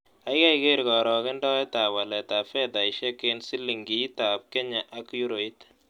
Kaigai keer karogendoetap waletap fedaisiek eng' silingiitap kenya ak euroit